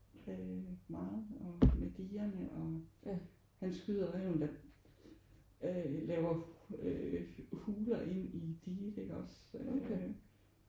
Øh meget og med digerne og han skyder ræven der øh laver øh huler ind i diget iggås øh